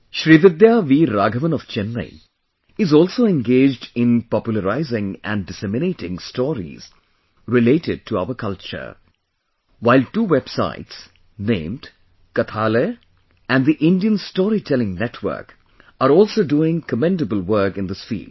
Srividya Veer Raghavan of Chennai is also engaged in popularizing and disseminating stories related to our culture, while two websites named, Kathalaya and The Indian Story Telling Network, are also doing commendable work in this field